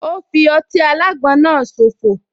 Ò fi ọtí alágbon náà so fò